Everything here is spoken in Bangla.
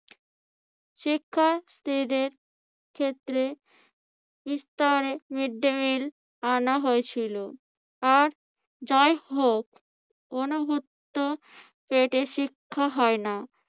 শিক্ষা স্ত্রীদের ক্ষেত্রে বিস্তারের আনা হয়েছিল। আর যাই হোক অনভুক্ত পেটে শিক্ষা হয় না।